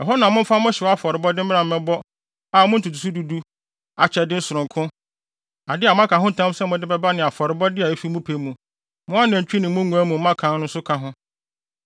Ɛhɔ na momfa mo hyew afɔrebɔde mmra mmɛbɔ a mo ntotoso du du, akyɛde sononko, ade a moaka ho ntam sɛ mode bɛba ne afɔrebɔde a efi mo pɛ mu, mo anantwi ne mo nguan mu mmakan nso nka ho.